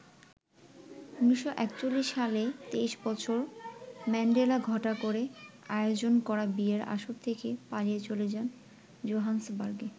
১৯৪১ সালে ২৩ বছর ম্যান্ডেলা ঘটা করে আয়োজন করা বিয়ের আসর থেকে পালিয়ে চলে যান জোহান্সবার্গে।